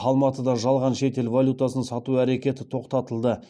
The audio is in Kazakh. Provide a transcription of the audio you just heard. алматыда жалған шетел валютасын сату әрекеті тоқтатылды